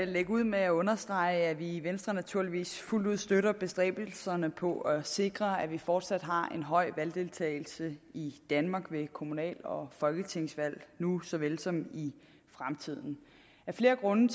lægge ud med at understrege at vi i venstre naturligvis fuldt ud støtter bestræbelserne på at sikre at vi fortsat har en høj valgdeltagelse i danmark ved kommunal og folketingsvalg nu såvel som i fremtiden af flere grunde